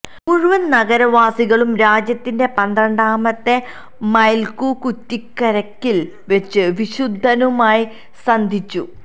മുഴുവൻ നഗര വാസികളും രാജ്യത്തിന്റെ പന്ത്രണ്ടാമത്തെ മൈൽകുകുറ്റിക്കരികിൽ വെച്ച് വിശുദ്ധനുമായി സന്ധിച്ചു